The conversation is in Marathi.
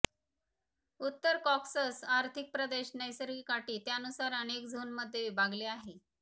उत्तर कॉकॅसस आर्थिक प्रदेश नैसर्गिक अटी त्यानुसार अनेक झोन मध्ये विभागले आहे